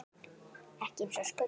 Ekki eins og skuggi.